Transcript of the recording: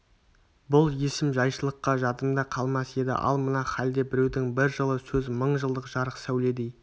бұл есім жайшылықша жадымда қалмас еді ал мына халде біреудің бір жылы сөзі мың жылдық жарық сәуледей